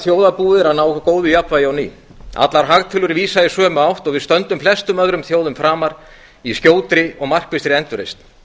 þjóðarbúið er að ná góðu jafnvægi á ný allar hagtölur vísa í sömu átt og við stöndum flestum öðrum þjóðum framar í skjótri og markvissri endurreisn